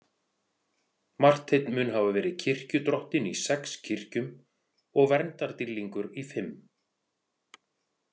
Marteinn mun hafa verið kirkjudrottinn í sex kirkjum og verndardýrlingur í fimm.